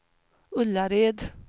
Ullared